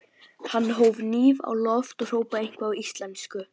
Hann hóf hníf á loft og hrópaði eitthvað á íslensku.